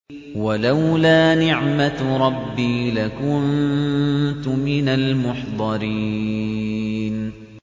وَلَوْلَا نِعْمَةُ رَبِّي لَكُنتُ مِنَ الْمُحْضَرِينَ